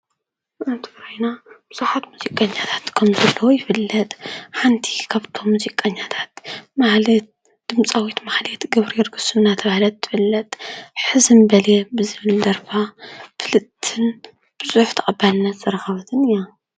ኣብ ከባብና ብዙሓት ሙዚቀኛታት ከም ዘለው ይፍለጥ ።ሓንቲ ካብቶም ሙዚቀኛታት ማህሌት ድምፃዊት ማህሌት ገብረገርግስ እናተባሃለት ትፍለጥ ሕዝም በልየ ዝብል ደርፋ ፍልጥትን ብዙሕ ተቀባልነትን ዝረኸበትን እያ።